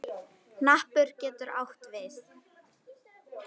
Hnappur getur átt við